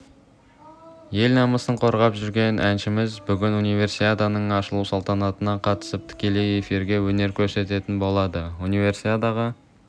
ел намысын қорғап жүрген әншіміз бүгін универсиаданың ашылу салтанатына қатысып тікелей эфирде өнер көрсететін болады универсиадаға